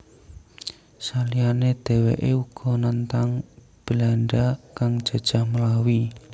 Saliyane dheweke uga nentang Belanda kang jajah Melawi